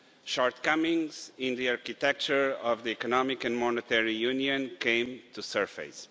Shortcomings in the architecture of the Economic and Monetary Union came to the surface.